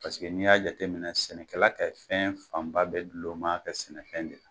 Paseke ni y'a jate minɛ sɛnɛkɛla ka fɛn fanba bɛɛ dulon b'a ka sɛnɛfɛn de la